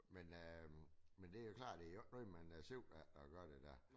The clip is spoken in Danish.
Men øh det jo klart det jo ikke noget sigter efetr at gøre det der